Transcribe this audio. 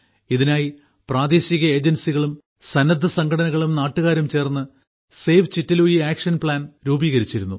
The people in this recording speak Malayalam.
ഇതിനായി പ്രാദേശിക ഏജൻസികളും സന്നദ്ധസംഘടനകളും നാട്ടുകാരും ചേർന്ന് സേവ് ചിറ്റെലൂയിസ് ആക്ഷൻ പ്ലാൻ രൂപീകരിച്ചിരുന്നു